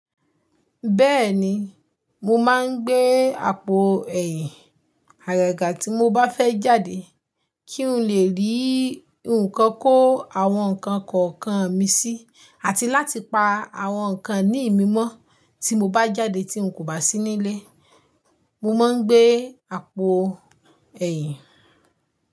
Bẹ́ẹ̀ni, mo máa ń gbé àpò ẹ̀yìn, àgàgà tí mo bá fẹ́ jáde kí n lè rí nǹkan kó àwọn nǹkan kọ̀ọ̀kan mi sí, àti láti pa àwọn nǹkan ìní ìmi mọ́ tí mo bá jáde tí n kò bá sí nílé. Mo máa ń gbé àpò ẹ̀yìn.